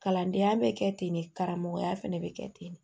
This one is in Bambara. Kalandenya bɛ kɛ ten de karamɔgɔya fana bɛ kɛ ten de